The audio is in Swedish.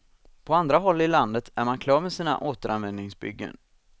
På andra håll i landet är man klar med sina återanvändningsbyggen.